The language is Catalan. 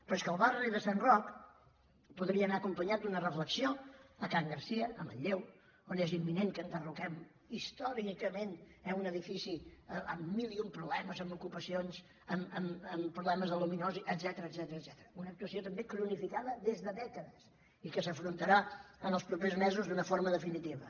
però és que el barri de sant roc podria anar acompanyat d’una reflexió a can garcia a manlleu on és imminent que enderroquem històricament eh un edifici amb mil i un problemes amb ocupacions amb problemes d’aluminosi etcètera una actuació també cronificada des de dècades i que s’afrontarà en els propers mesos d’una forma definitiva